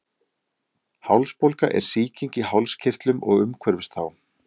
hálsbólga er sýking í hálskirtlum og umhverfis þá